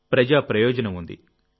ప్రజా ప్రయోజనం ఉంది